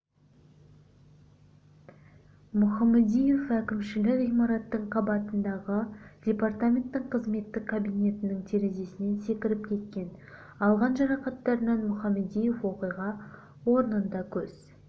мұхамадиев әкімшілік ғимараттың қабатындағы департаменттің қызметтік кабинетінің терезесінен секіріп кеткен алған жарақаттарынан мұхамадиев оқиға орнында көз